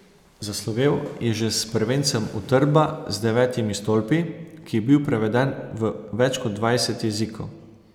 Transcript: Zaslovel je že s prvencem Utrdba z devetimi stolpi, ki je bil preveden v več kot dvajset jezikov.